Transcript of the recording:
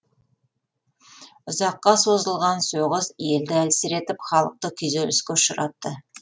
ұзаққа созылған соғыс елді әлсіретіп халықты күйзеліске ұшыратты